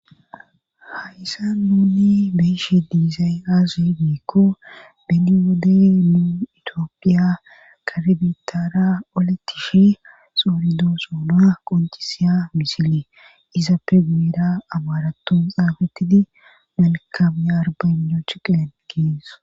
hayssa nuuni beeshe diizay aase biikko beni wodey nuu itiophiya karbitaara oletishi xooridoo soona qoncisiya misile izappe gueera amaratun xaabetidi malkame arbano chiqen kees